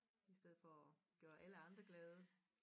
I stedet for at gøre alle andre glade